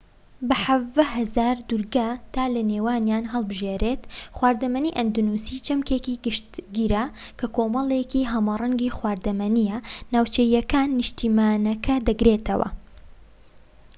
بە 17,000 دوورگە تا لە نێوانیان هەڵبژێریت خواردنی ئەندەنوسی چەمکێکی گشتگرە کە کۆمەڵێکی هەمەرەنگی خواردەمەنیە ناوچەییەکان نیشتیمانەکە دەگرێتەوە